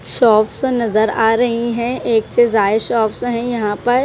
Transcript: Shops अ नजर आ रही हैं एक से जाये शॉप्स हैं यहां पर।